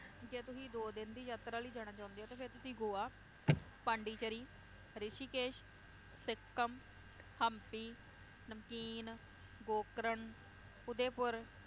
ਜੇ ਤੁਸੀਂ ਦੋ ਦਿਨ ਦੀ ਯਾਤਰਾ ਲਈ ਜਾਣਾ ਚਾਹੁੰਦੇ ਹੋ ਤਾਂ ਫੇਰ ਤੁਹੀਂ ਗੋਆ ਪੋਂਡੀਚੇਰੀ, ਰਿਸ਼ੀਕੇਸ਼, ਸਿੱਕਮ, ਹੰਪੀ, ਨਮਕੀਨ, ਗੋਕਰਨ, ਉਦੇਪੁਰ,